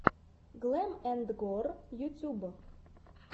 глэм энд гор ютуб